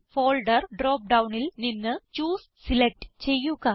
folder drop ഡൌണിൽ നിന്ന് choose select ചെയ്യുക